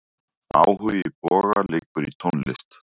Áhugi Boga liggur í tónlist.